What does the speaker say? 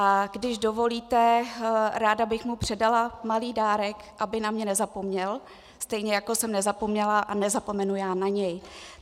A když dovolíte, ráda bych mu předala malý dárek, aby na mě nezapomněl, stejně jako jsem nezapomněla a nezapomenu já na něj.